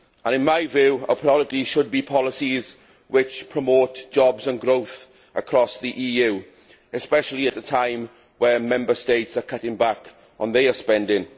In my view, our priorities should be policies which promote jobs and growth across the EU, especially at a time when Member States are cutting back on their spending.